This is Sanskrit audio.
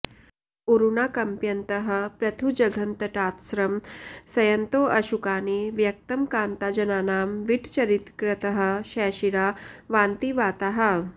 ऊरूनाकम्पयन्तः पृथुजघनतटात्स्रंसयन्तोंऽशुकानि व्यक्तं कान्ताजनानां विटचरितकृतः शैशिरा वान्ति वाताः